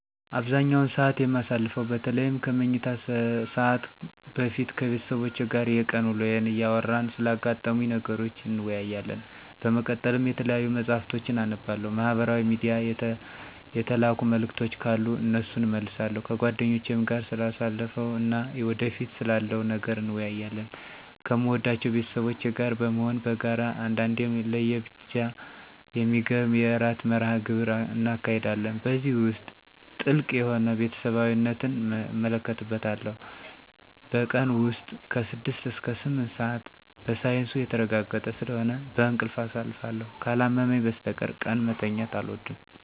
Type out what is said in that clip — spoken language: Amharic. አብዛኛውን ሰዓት የማሳልፈው በተለይም ከመኝታ ሰዓት በፊት ከቤተሰቦቼ ጋር የቀን ውሎየን እያወራን ስላጋጠሙኝ ነገሮች እንወያያለን። በመቀጠልም የተለያዩ መፅሀፍቶችን አነባለሁ፤ ማህበራዊ ሚድያ የተላኩ መልዕክቶች ካሉ እነሱን እመልሳለሁ። ከጓደኞቼም ጋር ስላለፈው እና ወደፊት ስላለው ነገር እንወያያለን። ከምወዳቸው ቤተሰቦቼ ጋር በመሆን በጋራ አንዳንዴም ለየብቻ የሚገርም የዕራት መርሀ ግብር እናካሂዳለን። በዚህ ውስጥ ጥልቅ የሆነ ቤተሰባዊነትን እመለከትበታለሁ። በቀን ውስጥ ከ6 እስከ 8 ሰዓት በሳይንሱ የተረጋገጠ ስለሆነ በእንቅልፍ አሳልፋለሁ። ካላመመኝ በስተቀር ቀን መተኛት አልወድም።